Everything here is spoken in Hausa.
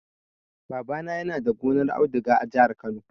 Babana yana da gonar auduga a jihar Kano.